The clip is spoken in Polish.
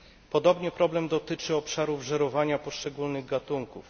Podobnie problem dotyczy obszarów żerowania poszczególnych gatunków.